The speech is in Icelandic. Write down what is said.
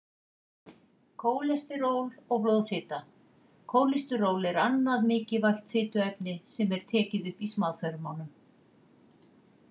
Kólesteról og blóðfita Kólesteról er annað mikilvægt fituefni sem er tekið upp í smáþörmunum.